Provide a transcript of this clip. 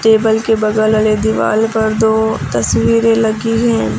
Table के बगल वाले दीवाल पर दो तस्वीरें लगी हैं।